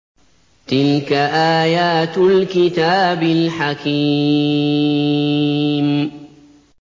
تِلْكَ آيَاتُ الْكِتَابِ الْحَكِيمِ